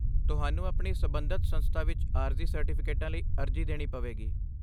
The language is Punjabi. ਤੁਹਾਨੂੰ ਆਪਣੀ ਸਬੰਧਤ ਸੰਸਥਾ ਵਿੱਚ ਆਰਜ਼ੀ ਸਰਟੀਫਿਕੇਟਾਂ ਲਈ ਅਰਜ਼ੀ ਦੇਣੀ ਪਵੇਗੀ।